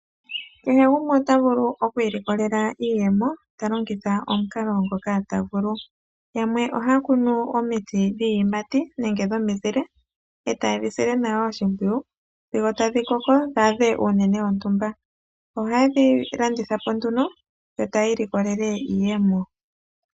Kehe gumwe otavulu okwiilikolela iiyemo talongitha omukalo ngoka tavulu. Yamwe ohaya kunu omiti dhiiyimati nodhomizile. Ohaye dhi sile nawa oshimpwiyu , dhiwape okukoka dhi adhe omuthika gontumba . Konima , ohadhi landithwapo aantu yiimonenemo iiyemo.